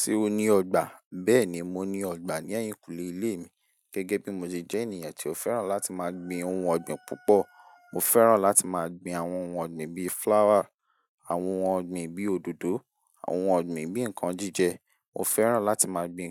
Ṣé o ní ọgbà? Bẹ́ẹ̀ ni, mo ní ọgbà ní ẹ̀yìnkùlé ilé mi. Gẹ́gẹ́ bí mo ṣe jẹ́ ènìyàn tí ó fẹ́ràn láti máa gbin ohun ọ̀gbìn púpọ̀. Mo fẹ́ràn láti máa gbin àwọn ohun ọ̀gbìn bí flower, àwọn ohun ọ̀gbìn bí òdòdó, àwọn ohun ọ̀gbìn bí nǹkan jíjẹ. Mo fẹ́ràn láti máa gbin